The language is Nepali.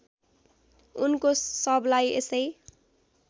उनको शवलाई यसै